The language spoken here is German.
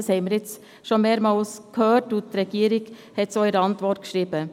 Dies haben wir schon mehrmals gehört, und die Regierung hat es auch in ihrer Antwort festgehalten.